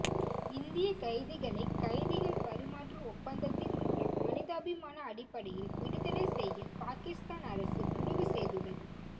இந்திய கைதிகளை கைதிகள் பரிமாற்று ஒப்பந்தத்தின் மூலம் மனிதாபிமான அடிப்படையில் விடுதலை செய்ய பாகிஸ்தான் அரசு முடிவுசெய்துள்ளது